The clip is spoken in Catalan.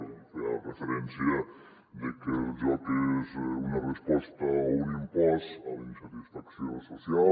ell feia referència de que el joc és una resposta o un impost a la insatisfacció social